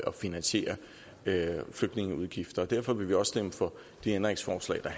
at finansiere flygtningeudgifter og derfor vil vi også stemme for de ændringsforslag der